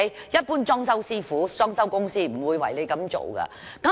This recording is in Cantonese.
一般裝修公司、裝修師傅不會為客戶這樣做。